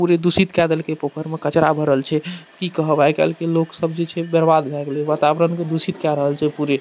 पूरी दूषित काय देलके पोखर में कचरा भरल छै कि कहब आय-काल के लोक सब जे छै बर्बाद भाय गेले वातावरण के दूषित काय रहल छै पूरे।